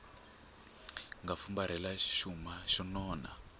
nga fumbarhela xuma xo nona